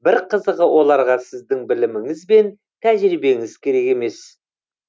бір қызығы оларға сіздің біліміңіз бен тәжірибеңіз керек емес